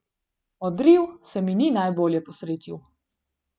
Odriv se mi ni najbolje posrečil.